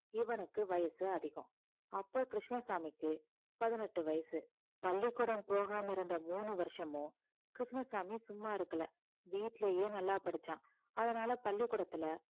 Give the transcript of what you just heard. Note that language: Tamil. இவனுக்கு வயசு அதிகம் அப்போ கிருஷ்ணசாமிக்கு பதினெட்டு வயசு பள்ளிக்கூடம் போகாம இருந்த மூணு வருஷமும் கிருஷ்ணசாமி சும்மா இருக்கல வீட்டிலேயே நல்லா படிச்சான் அதனால பள்ளிக்கூடத்துல